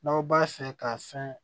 N'aw b'a fɛ ka fɛn